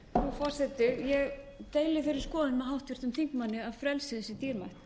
forseti ég deili þeirri skoðun með háttvirtum þingmanni að frelsið sé dýrmætt